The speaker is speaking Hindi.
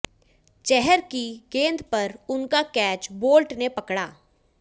चहर की गेंद पर उनका कैच बोल्ट ने पकड़ा